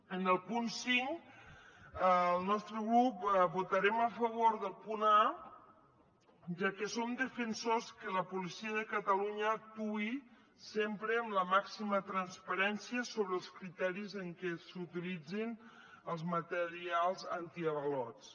en el punt cinc el nostre grup votarem a favor del punt a ja que som defensors que la policia de catalunya actuï sempre amb la màxima transparència sobre els criteris amb què s’utilitzin els materials antiavalots